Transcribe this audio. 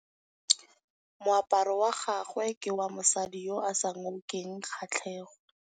Moaparô wa gagwe ke wa mosadi yo o sa ngôkeng kgatlhegô.